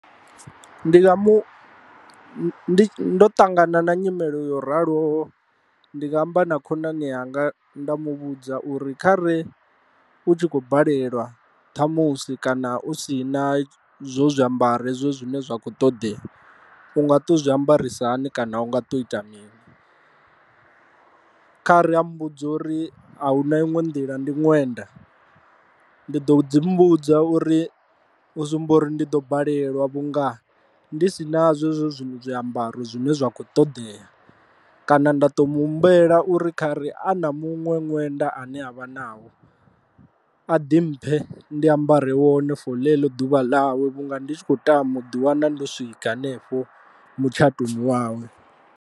Ndi nga mu ndo ṱangana na nyimele yo raloho ndi nga amba na khonani yanga nda mu vhudza uri kha re u tshi kho balelwa ṱhamusi kana u si na zwo zwiambaro hezwo zwine zwa kho ṱoḓea unga to zwi ambarisa hani kana u nga to ita mini, kha ri a mmbudza uri a hu na iṅwe nḓila ndi ṅwenda, ndi ḓo dzi mu vhudza uri u zwi amba uri ndi ḓo balelwa vhunga ndi si nazwo hezwo zwiṅwe zwiambaro zwine zwa kho ṱoḓea, kana nda to mu humbela uri kha ri a na muṅwe ṅwenda ane avha nao a ḓi mphe ndi ambare wone for ḽeḽo ḓuvha ḽawe vhunga ndi tshi khou tama u ḓi wana ndo swika hanefho mutshatoni wawe.